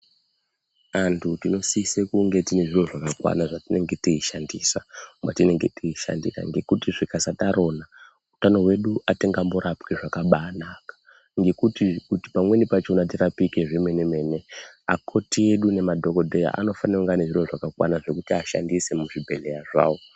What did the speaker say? Anthu tinosise kunge tinezviro zvakwana zvatinenge teishandisa matinenge teishandira ngekuti zvika sadarona hutano hwedu hatingamborapwi zvakabaka ngekuti pamweni pakona kuti tirapike zvemene mene akoti edu ngemadhokotera anofanirwa kunge ane zviro zvakakwana zvekuti ashandise muzvibhehlera zvavo.